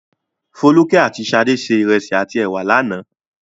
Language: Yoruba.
Folúkẹ́ àti Ṣadé se ìrẹsì àti ẹ̀wà lánàá.